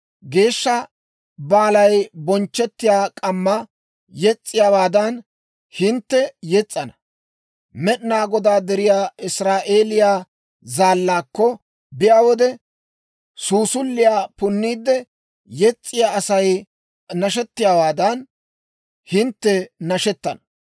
Geeshsha baalay bonchchettiyaa k'amma yes's'iyaawaadan, hintte yes's'ana; Med'inaa Godaa deriyaa Israa'eeliyaa Zaallaakko biyaa wode, suusuliyaa punniide yes's'iyaa Asay nashettiyaawaadan, hintte nashettana.